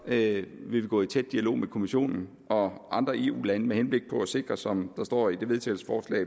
vil vi gå i tæt dialog med kommissionen og andre eu lande med henblik på at sikre som der står i til vedtagelse